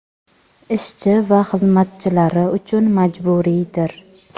ishchi va xizmatchilari uchun majburiydir.